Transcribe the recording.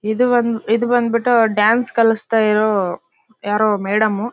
ಇದು ಒಂದ್ ಇದು ಬಂದ್ಬಿಟ್ಟು ಡಾನ್ಸ್ ಕಲಿಸ್ತಾ ಇರೋ ಯಾರೋ ಮೇಡಂ .